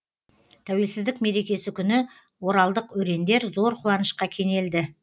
тәуелсіздік мерекесі күні оралдық өрендер зор қуанышқа кенелді